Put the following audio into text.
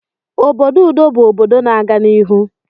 Obodo udo bụ obodo na-aga n'ihu